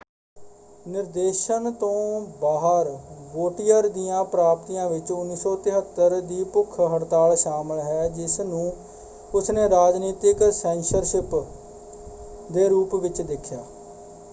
ਨਿਰਦੇਸ਼ਨ ਤੋਂ ਬਾਹਰ ਵੋਟੀਅਰ ਦੀਆਂ ਪ੍ਰਾਪਤੀਆਂ ਵਿੱਚ 1973 ਦੀ ਭੁੱਖ ਹੜਤਾਲ ਸ਼ਾਮਲ ਹੈ ਜਿਸ ਨੂੰ ਉਸਨੇ ਰਾਜਨੀਤਿਕ ਸੈਂਸਰਸ਼ਿਪ ਦੇ ਰੂਪ ਵਿੱਚ ਦੇਖਿਆ।